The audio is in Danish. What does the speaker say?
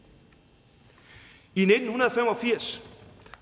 i og firs